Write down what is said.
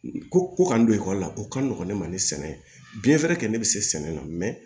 Ko ko ka n don ekɔli la o ka nɔgɔn ne ma ni sɛnɛ biyɛn fɛnɛ kɛ ne bi se sɛnɛ la